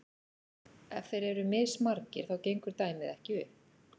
ef þeir eru mismargir þá gengur dæmið ekki upp